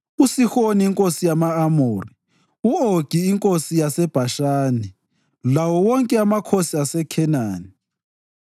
uSihoni inkosi yama-Amori, u-Ogi inkosi yaseBhashani lawo wonke amakhosi aseKhenani